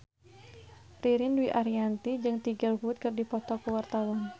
Ririn Dwi Ariyanti jeung Tiger Wood keur dipoto ku wartawan